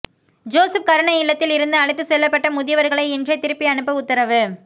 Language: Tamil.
ஜோசப் கருணை இல்லத்தில் இருந்து அழைத்துச் செல்லப்பட்ட முதியவர்களை இன்றே திருப்பி அனுப்ப உத்தரவு